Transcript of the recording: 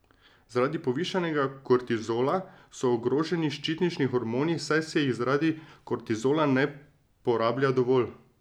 Zaradi povišanega kortizola so ogroženi ščitnični hormoni, saj se jih zaradi kortizola ne porablja dovolj.